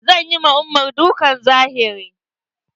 Zan yi ma umar dukkan zahiri.